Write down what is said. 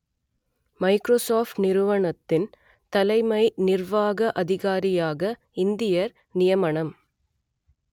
Microsoft நிறுவனத்தின் தலைமை நிர்வாக அதிகாரியாக இந்தியர் நியமனம்